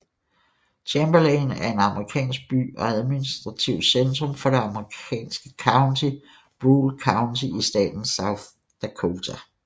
Chamberlain er en amerikansk by og administrativt centrum for det amerikanske county Brule County i staten South Dakota